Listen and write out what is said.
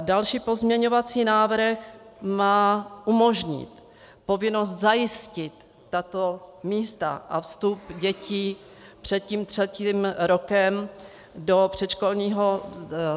Další pozměňovací návrh má umožnit povinnost zajistit tato místa a vstup dětí před tím třetím rokem do předškolního